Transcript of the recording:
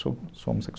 Sou sou homossexual.